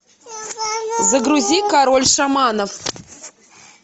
загрузи король шаманов